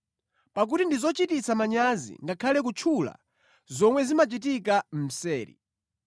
Pakuti ndi zochititsa manyazi ngakhale kutchula zomwe zimachitika mseri.